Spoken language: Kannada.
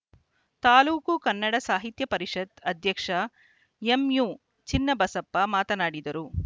ತಾಲೂಕು ಕನ್ನಡ ಸಾಹಿತ್ಯ ಪರಿಷತ್‌ ಅಧ್ಯಕ್ಷ ಎಂಯು ಚಿನ್ನಬಸಪ್ಪ ಮಾತನಾಡಿದರು